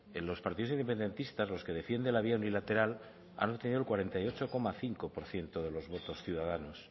en los partidos independentistas los que defienden la vía unilateral han obtenido el cuarenta y ocho coma cinco por ciento de los votos ciudadanos